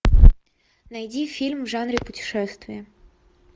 найди фильм в жанре путешествие